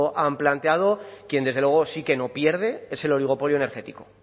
han planteado quien desde luego sí que no pierde es el oligopolio energético